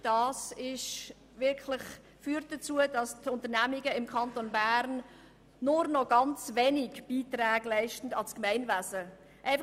Das führt dazu, dass die Unternehmungen im Kanton Bern nur noch ganz wenig an das Gemeinwesen beitragen.